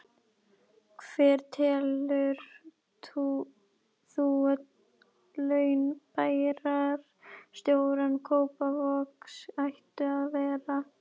Hver telur þú að laun bæjarstjóra Kópavogs ættu að vera?